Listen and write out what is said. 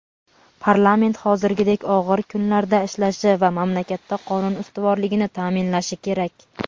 parlament hozirgidek og‘ir kunlarda ishlashi va mamlakatda qonun ustuvorligini ta’minlashi kerak.